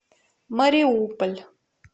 мариуполь